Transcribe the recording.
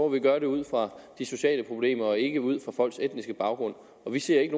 vi gøre det ud fra de sociale problemer og ikke ud fra folks etniske baggrund og vi ser ikke